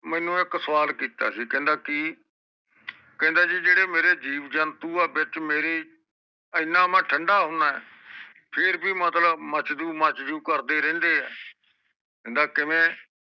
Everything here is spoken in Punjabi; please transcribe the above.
ਮੇਨੂ ਇਕ ਸਵਾਲ ਕੀਤਾ ਸੀ ਕਹਿੰਦਾ ਕਿ ਕਹਿੰਦਾ ਜੀ ਜੇਰੇ ਮੇਰੇ ਜੀਵ ਜੰਤੂ ਆ ਵਿਚ ਮੇਰੀ ਇੰਨਾਂ ਮੈਂ ਠੰਡਾ ਹੁੰਦਾ ਏ ਫੇਰ ਵੀ ਮਤਲਬ ਮਚਜੁ ਮਚਜੂ ਕਰਦੇ ਰਹਿੰਦੇ ਆ ਕਹਿੰਦਾ ਕਿਵੇਂ